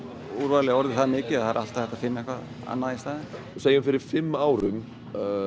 úrvalið orðið það mikið að það er alltaf hægt að finna eitthvað annað í staðinn segjum fyrir fimm árum